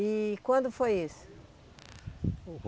E quando foi isso?